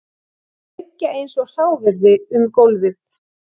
Þau liggja eins og hráviði um gólfið